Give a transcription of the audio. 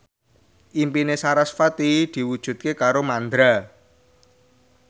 impine sarasvati diwujudke karo Mandra